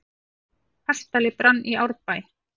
Kastali brann í Árbæ